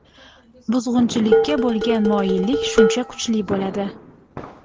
buzg‘unchilikka bo‘lgan moyillik shuncha kuchli bo‘ladi.